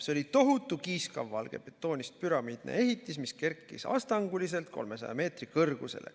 See oli tohutu kiiskavvalgest betoonist püramiidne ehitis, mis kerkis astanguliselt 300 meetri kõrgusele.